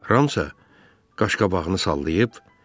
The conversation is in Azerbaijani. Ram isə qaşqabağını sallayıb.